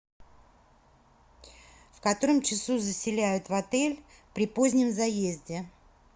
в котором часу заселяют в отель при позднем заезде